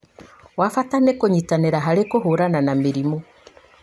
wa bata nĩ kũnyitanĩra harĩ kũhũrana na mĩrimũ